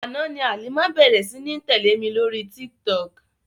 Àná ni Halima bẹ̀ẹ̀rẹ̀ sí ní tẹ̀lé mi lóri Tiktok.